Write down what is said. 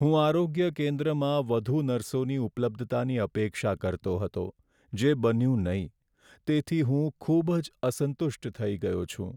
"હું આરોગ્ય કેન્દ્રમાં વધુ નર્સોની ઉપલબ્ધતાની અપેક્ષા કરતો હતો જે બન્યું નહીં, તેથી હું ખૂબ જ અસંતુષ્ટ થઈ ગયો છું".